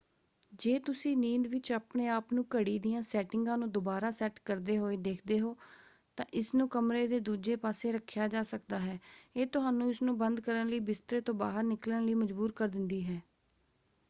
ਜੇ ਤੁਸੀਂ ਨੀਂਦ ਵਿੱਚ ਆਪਣੇ ਆਪ ਨੂੰ ਘੜੀ ਦੀਆਂ ਸੈਟਿੰਗਾਂ ਨੂੰ ਦੁਬਾਰਾ ਸੈੱਟ ਕਰਦੇ ਹੋਏ ਦੇਖਦੇ ਹੋ ਤਾਂ ਇਸਨੂੰ ਕਮਰੇ ਦੇ ਦੂਜੇ ਪਾਸੇ ਰੱਖਿਆ ਜਾ ਸਕਦਾ ਹੈ ਇਹ ਤੁਹਾਨੂੰ ਇਸਨੂੰ ਬੰਦ ਕਰਨ ਲਈ ਬਿਸਤਰੇ ਤੋਂ ਬਾਹਰ ਨਿਕਲਣ ਲਈ ਮਜਬੂਰ ਕਰ ਦਿੰਦੀ ਹੈ।